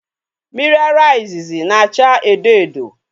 Miri ara izizi na-achaa edo edo.